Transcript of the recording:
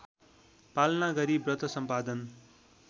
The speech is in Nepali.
पालना गरी व्रतसम्पादन